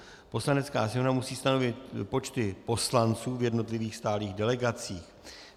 Poslanecká sněmovna musí stanovit počty poslanců v jednotlivých stálých delegacích.